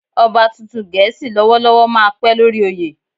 Ọba tuntun Gẹ̀ẹ́sì lọ́wọ́lọ́wọ́ máa pẹ́ lórí oyè.